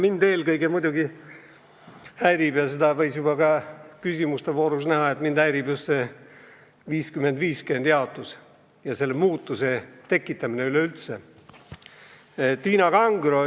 Mind ja teisigi, nagu küsimuste voorus selgus, häirib eelkõige just see 50 : 50 jaotus ja selle muudatuse tegemine üleüldse.